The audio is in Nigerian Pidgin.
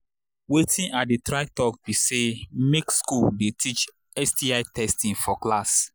watin i they try talk be say make school they teach sti testing for class